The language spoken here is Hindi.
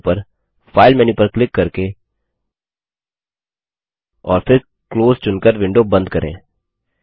सबसे ऊपर फाइल मेनू पर क्लिक करके और फिर क्लोज चुनकर विंडो बंद करें